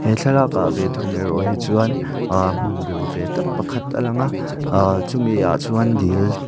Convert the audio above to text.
he thlalakah ve thung erawh hi ahh chuan hmun biru ve tak pakhat a lang a ahh chumiah chuan dil--